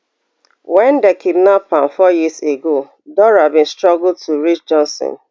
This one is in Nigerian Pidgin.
wen dem kidnap am four years ago dora bin struggle to reach johnson